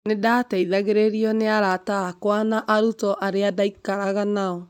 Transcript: Nĩ ndaateithagĩrĩrio nĩ arata akwa na arutwo arĩa ndaikaraga nao.